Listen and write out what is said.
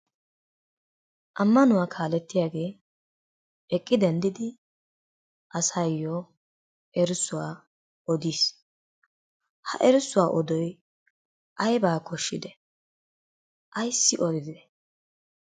Ammanuwa kaalettiyagee eqqi denddidi asaayyo erissuwa odiis. Ha erissuwa odoy aybaa koshshidee? ayssi odidee?